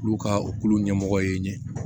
Olu ka o kulo ɲɛmɔgɔ ye ɲɛ